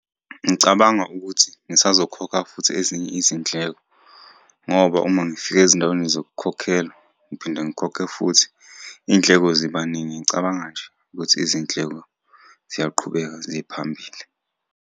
Ngicabanga ukuthi ngisazokhokha futhi ezinye izindleko ngoba uma ngifika ezindaweni zokukhokhelwa, ngiphinde ngikhokhe futhi, iy'ndleko ziba ningi. Ngicabanga nje ukuthi izindleko ziyaqhubeka ziye phambili.